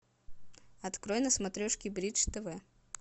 открой на смотрешке бридж тв